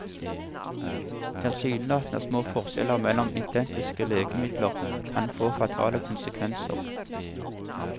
Tilsynelatende små forskjeller mellom identiske legemidler kan få fatale konsekvenser.